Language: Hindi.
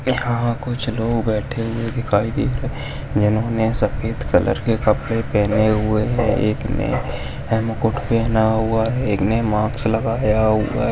यहा कुछ लोग बैठे हुए दिखाई दे रहे है जिन्होने सफ़ेद कलर के कपड़े पहने हुए है एक ने है मुकुट पहना हुआ है एक ने मास्क लगाया हुआ है।